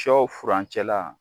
Sɔ furancɛ la